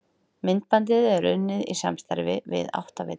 Myndbandið er unnið í samstarfi við Áttavitann.